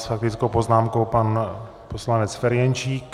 S faktickou poznámkou pan poslanec Ferjenčík.